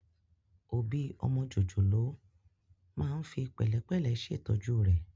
Òbí ọmọ jòjòló máa ń fi pẹ̀lẹ́pẹ̀lẹ́ ṣètọ́jú rẹ̀